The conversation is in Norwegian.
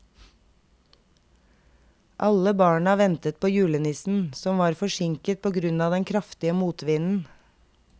Alle barna ventet på julenissen, som var forsinket på grunn av den kraftige motvinden.